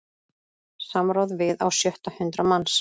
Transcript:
Samráð við á sjötta hundrað manns